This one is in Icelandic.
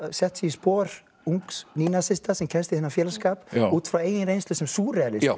sett sig í spor ungs sem kemst í þennan félagsskap út frá eigin reynslu sem súrrealisti já